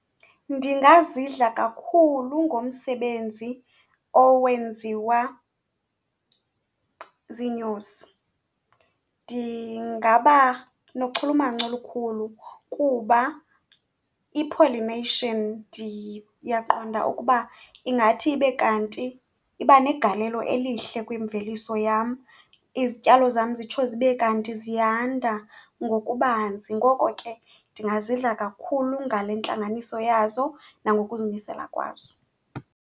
Ndingazidla kakhulu ngomsebenzi owenziwa ziinyosi, ndingaba nochulumanco olukhulu kuba i-pollination ndiyaqonda ukuba ingathi ibe kanti iba negalelo elihle kwimveliso yam, izityalo zam zitsho zibe kanti ziyanda ngokubanzi. Ngoko ke ndingazidla kakhulu ngale ntlanganiso yazo nangokuzimisela kwazo.